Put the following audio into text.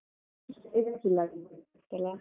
.